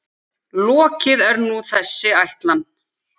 Lokið er nú þessi ætlan.